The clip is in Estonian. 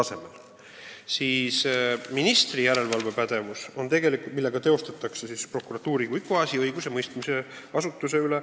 Seega teid huvitab ministri järelevalve prokuratuuri kui õiguse mõistmise asutuse üle.